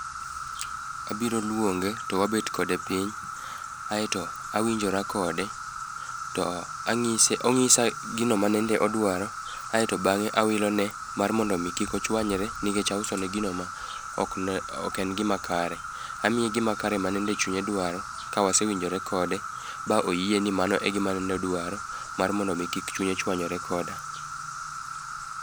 Abiro luonge to wabet kode piny aeto awinjora kode to anyise onyisa gino manende odwaro kaeto bang'e awilone mondo kik ochanywre nikech ausone gino ma ok en gimakare. Amiye gimakare manende chunye dwaro kawase winjkore kode ba oyieni mano e gima ne dwaro mar modo mi kik chunye chuanyre koda.